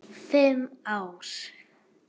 Fimm ár?